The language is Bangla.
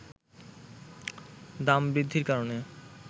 দাম বৃদ্ধির কারণে